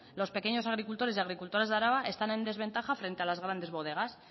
los pequeños agricultores y agricultoras de araba están en desventaja frente a las grandes bodegas